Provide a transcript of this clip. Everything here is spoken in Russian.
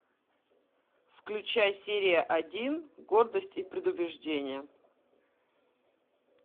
включай серия один гордость и предубеждение